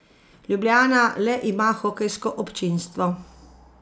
Ljubljana le ima hokejsko občinstvo.